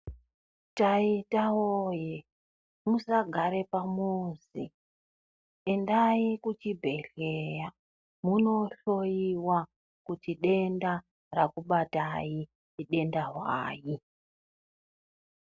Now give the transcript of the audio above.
Taita woye musagare pamuzi endai kuchibhedhlera mundohloyiwa kuti denda rakubatai idenda hwai.